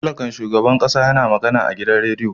Talakan shugaban kasa ya na magana a radiyo.